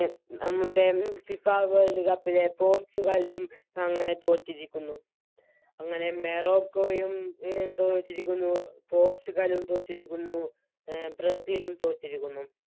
നമ്മുടെ FIFA World ലെ പോർച്ചുഗലും അങ്ങനെ തോറ്റിരിക്കുന്നു അങ്ങനെ മെറോക്കോയും എ തോറ്റിരിക്കുന്നു പോർച്ചുഗലും തോറ്റിരിക്കുന്നു എ ബ്രസീലും തോറ്റിരിക്കുന്നു